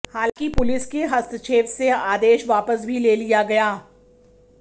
हालांकि पुलिस के हस्तक्षेप से आदेश वापस भी ले लिया गया